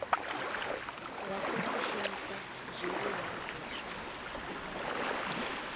vha songo shumisa zwiliṅwa zwiswa